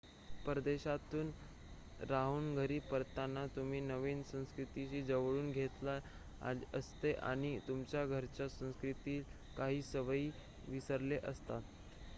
परदेशात राहून घरी परतताना तुम्ही नवीन संस्कृतीशी जुळवून घेतलेले असते आणि तुमच्या घरच्या संस्कृतीतील काही सवयी विसरलेल्या असतात